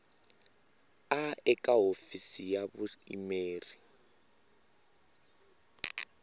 a eka hofisi ya vuyimeri